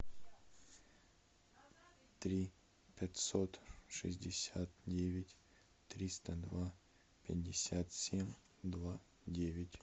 три пятьсот шестьдесят девять триста два пятьдесят семь два девять